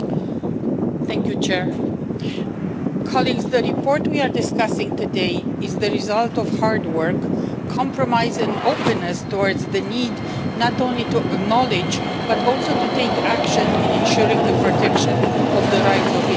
Mr President, the report we are discussing today is the result of hard work, compromise and openness towards the need not only to acknowledge, but also to take action in ensuring the protection of the rights of indigenous people.